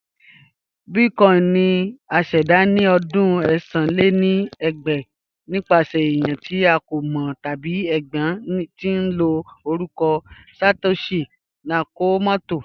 Bitcoin ni à ṣẹda ni ọdún ẹ̀sán lé ní ẹgbàá nipasẹ̀ ènìyàn ti a kò mọ tabi ẹgbẹ̀ tín ló orúkọ Satoshi Nakamoto